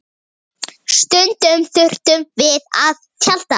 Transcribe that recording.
Stundum þurftum við að tjalda.